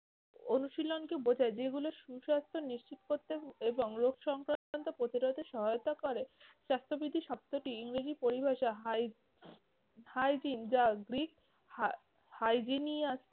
অনুশীলনকে বোঝায় যেগুলো সুসাস্থ নিশ্চিত করতে এবং রোগ সংক্রান্ত প্রতিরোধে সহায়তা করে। স্বাস্থ্যবিধি শব্দটির ইংরেজি পরিভাষা, হাই~ hygiene যা গ্রিক হা~ hygenius